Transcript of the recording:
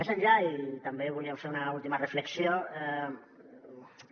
més enllà i també volíem fer una última reflexió